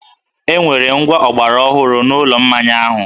E nwere ngwá ọgbaraọhụrụ n’ụlọ mmaya ahụ